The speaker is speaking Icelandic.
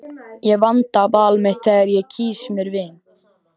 Ég vanda val mitt þegar ég kýs mér vini.